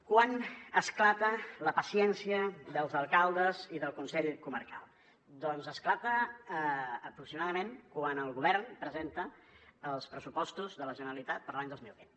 quan esclata la paciència dels alcaldes i del consell comarcal doncs esclata aproximadament quan el govern presenta els pressupostos de la generalitat per a l’any dos mil vint